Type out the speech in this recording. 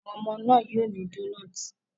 Àwọn ọmọ náà yóò ní donuts.